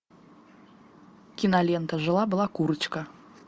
кинолента жила была курочка